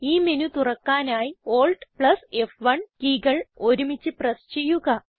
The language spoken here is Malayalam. ഈ മെനു തുറക്കാനായി AltF1 കീ കൾ ഒരുമിച്ച് പ്രസ് ചെയ്യുക